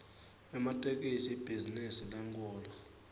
ematekisi ibhizinisi lenkhulu